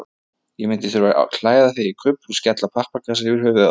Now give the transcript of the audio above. Ég myndi þurfa að klæða þig í kufl og skella pappakassa yfir höfuðið á þér.